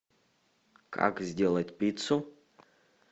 как сделать пиццу